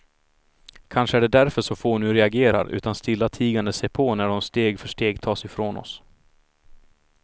Kanske är det därför så få nu reagerar, utan stillatigande ser på när de steg för steg tas ifrån oss.